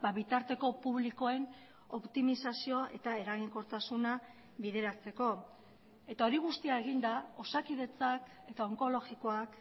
bitarteko publikoen optimizazioa eta eraginkortasuna bideratzeko eta hori guztia eginda osakidetzak eta onkologikoak